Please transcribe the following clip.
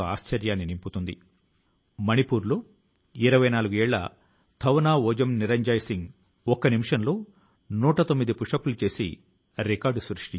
పౌర విమానయాన మంత్రిత్వ శాఖ లోని విభాగాలు ఎండు ఆకుల నుంచి చెట్ల నుంచి పడే సేంద్రీయ వ్యర్థాల నుండి సేంద్రీయ కంపోస్ట్ ను తయారు చేయడం ప్రారంభించాయి